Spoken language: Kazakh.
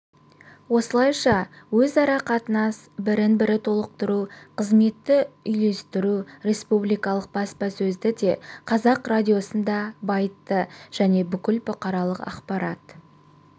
осылайша өзара қатынас бірін-бірі толықтыру қызметті үйлестіру республикалық баспасөзді де қазақ радиосын да байытты және бүкіл бұқаралық ақпарат